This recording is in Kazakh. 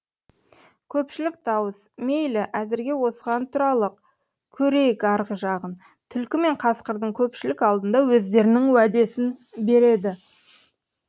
көпшілік дауыс мейлі әзірге осыған тұралық көрейік арғы жағын түлкі мен қасқыр көпшілік алдында өздерінің уәдесін береді